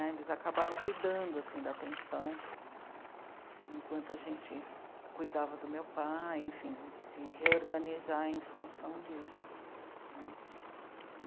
Eles acabaram cuidando, assim, da pensão, enquanto a gente cuidava do meu pai, enfim, de se reorganizar em função disso, né.